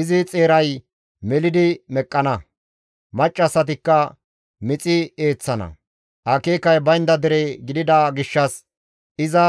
Izi xeeray melidi meqqana; maccassatikka mixi eeththana; akeekay baynda dere gidida gishshas iza